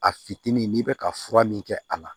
A fitinin n'i bɛ ka fura min kɛ a la